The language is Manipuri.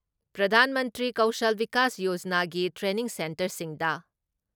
ꯄ꯭ꯔꯙꯥꯟ ꯃꯟꯇ꯭ꯔꯤ ꯀꯧꯁꯜ ꯕꯤꯀꯥꯁ ꯌꯣꯖꯅꯥꯒꯤ ꯇ꯭ꯔꯦꯅꯤꯡ ꯁꯦꯟꯇꯔꯁꯤꯡꯗ